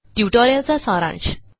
ट्युटोरियलचा सारांश